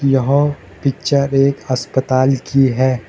यह पिक्चर एक अस्पताल की है।